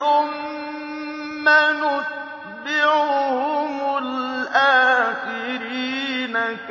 ثُمَّ نُتْبِعُهُمُ الْآخِرِينَ